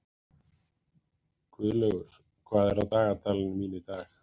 Guðlaugur, hvað er á dagatalinu mínu í dag?